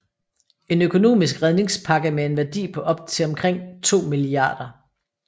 En økonomisk redningspakke med en værdi på op til omkring 2 mia